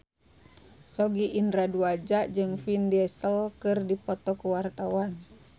Sogi Indra Duaja jeung Vin Diesel keur dipoto ku wartawan